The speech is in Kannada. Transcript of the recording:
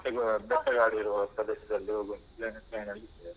ಬೆಟ್ಟಗು, ಬೆಟ್ಟಗಾಡಿರುವ ಪ್ರದೇಶದಲ್ಲಿ ಹೋಗುವ ಒಂದು plan ಲ್ಲಿದ್ದೇವೆ.